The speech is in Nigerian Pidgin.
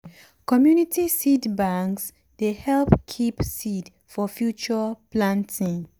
community seed banks dey help keep seed for future planting.